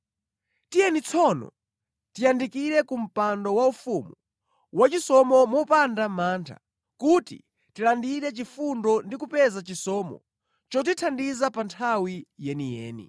Tiyeni tsono tiyandikire ku mpando waufumu, wachisomo mopanda mantha, kuti tilandire chifundo ndi kupeza chisomo chotithandiza pa nthawi yeniyeni.